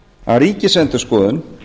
að ríkisendurskoðun